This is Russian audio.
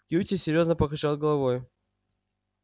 кьюти серьёзно покачал головой